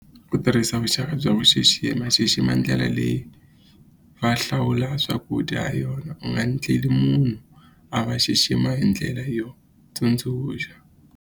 Ku tirhisa vuxaka bya ku xixima, xixima ndlela leyi va hlawula swakudya ha yona u nga endleli munhu a va xixima hi ndlela yo tsundzuxa.